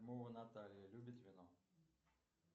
наталья любит вино